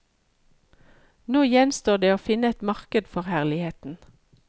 Nå gjenstår det å finne et marked for herligheten.